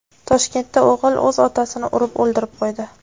Toshkentda o‘g‘il o‘z otasini urib o‘ldirib qo‘ydi.